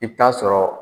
I bɛ taa sɔrɔ